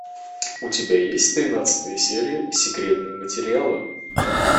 у тебя есть тринадцатая серия секретные материалы